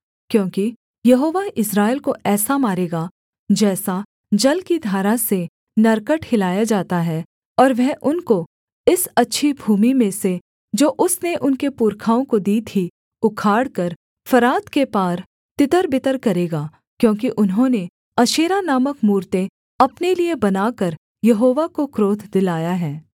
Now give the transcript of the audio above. क्योंकि यहोवा इस्राएल को ऐसा मारेगा जैसा जल की धारा से नरकट हिलाया जाता है और वह उनको इस अच्छी भूमि में से जो उसने उनके पुरखाओं को दी थी उखाड़कर फरात के पार तितरबितर करेगा क्योंकि उन्होंने अशेरा नामक मूरतें अपने लिये बनाकर यहोवा को क्रोध दिलाया है